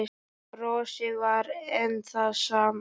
Brosið var enn það sama.